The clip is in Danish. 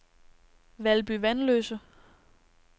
Valby Vanløse